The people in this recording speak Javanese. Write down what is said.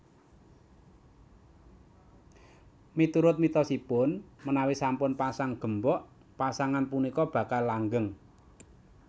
Miturut mitosipun menawi sampun pasang gembok pasangan punika bakal langgeng